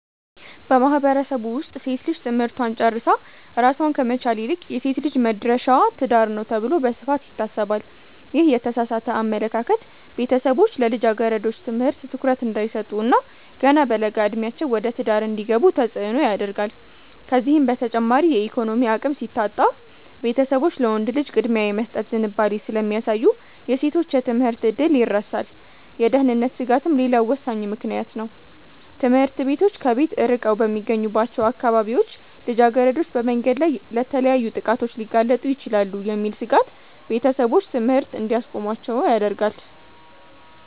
በማህበረሰቡ ውስጥ ሴት ልጅ ትምህርቷን ጨርሳ ራሷን ከመቻል ይልቅ "የሴት ልጅ መድረሻዋ ትዳር ነው" ተብሎ በስፋት ይታሰባል። ይህ የተሳሳተ አመለካከት ቤተሰቦች ለልጃገረዶች ትምህርት ትኩረት እንዳይሰጡ እና ገና በለጋ ዕድሜያቸው ወደ ትዳር እንዲገቡ ተጽዕኖ ያደርጋል። ከዚህም በተጨማሪ የኢኮኖሚ አቅም ሲታጣ፣ ቤተሰቦች ለወንድ ልጅ ቅድሚያ የመስጠት ዝንባሌ ስለሚያሳዩ የሴቶች የትምህርት ዕድል ይረሳል። የደህንነት ስጋትም ሌላው ወሳኝ ምክንያት ነው፤ ትምህርት ቤቶች ከቤት ርቀው በሚገኙባቸው አካባቢዎች ልጃገረዶች በመንገድ ላይ ለተለያዩ ጥቃቶች ሊጋለጡ ይችላሉ የሚል ስጋት ቤተሰቦች ትምህርት እንዲያስቆሟቸው ያደርጋል።